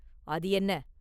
“அது என்ன?